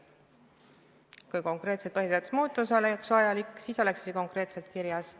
Kui konkreetselt põhiseaduse muutus oleks vajalik, siis oleks see konkreetselt kirjas.